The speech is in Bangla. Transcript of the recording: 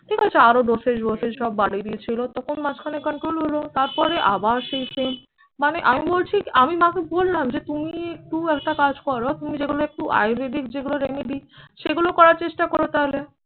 ঠিক আছে আরো doses বসেস সব বাড়িয়ে দিয়েছিল। তখন মাঝখানে control হলো। তারপরে আবার সেই same মানে আমি বলছি আমি মাকে বললাম যে তুমি একটু একটা কাজ করো, তুমি যেগুলো একটু আয়ুর্বেদিক যেগুলো remedy সেগুলো করার চেষ্টা করো তাহলে।